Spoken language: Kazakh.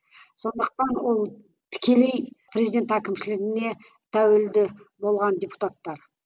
сондықтан ол тікелей президент әкімшілігіне тәуелді болған депутаттар